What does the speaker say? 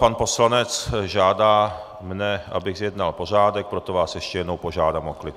Pan poslanec mě žádá, abych zjednal pořádek, proto vás ještě jednou požádám o klid.